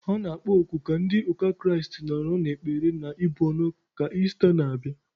A na-akpọ oku ka ndị ụka Kraịst nọrọ n'ekpere na ibu ọnụ ka Ista n'abịa.